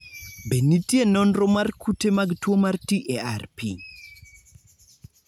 Be nitie nonro mar kute mag tuwo mar TARP?